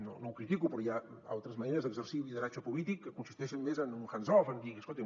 no no ho critico però hi ha altres maneres d’exercir un lideratge polític que consisteixen més en un hands off en dir escoltin